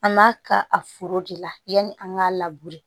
An b'a ka a foro de la yanni an k'a